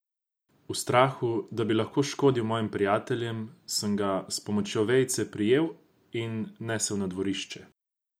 V strahu, da bi lahko škodil mojim prijateljem, sem ga s pomočjo vejice prijel in nesel na dvorišče.